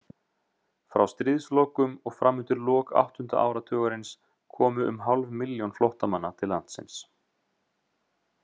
Frá stríðslokum og fram undir lok áttunda áratugarins komu um hálf milljón flóttamanna til landsins.